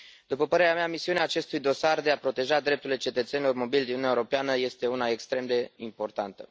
După părerea mea, misiunea acestui dosar de a proteja drepturile cetățenilor mobili din Uniunea Europeană este una extrem de importantă.